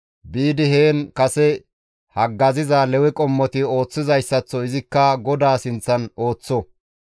biidi heen kase haggaziza Lewe qommoti ooththizayssaththo izikka GODAA sinththan ooththo.